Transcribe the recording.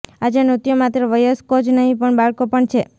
આજે નૃત્યો માત્ર વયસ્કો જ નહીં પણ બાળકો પણ છે